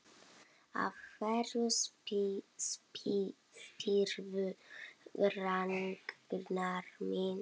Af hverju spyrðu, Ragnar minn?